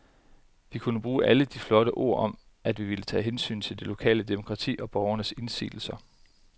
Vi kunne bruge alle de flotte ord om, at vi ville tage hensyn til det lokale demokrati og borgernes indsigelser.